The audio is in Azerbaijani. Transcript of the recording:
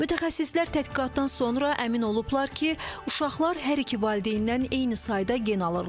Mütəxəssislər təhqiqatdan sonra əmin olublar ki, uşaqlar hər iki valideynnən eyni sayda gen alırlar.